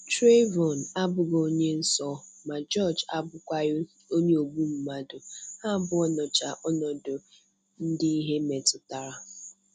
Trayvon abụghị onye nsọ, ma George abụkwaghị onye ogbu mmadụ, Ha abụọ nọcha ọnọdụ ndị ihe metụtara.